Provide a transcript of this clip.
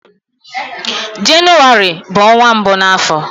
Jenụwarị bụ ọnwa mbụ na afọ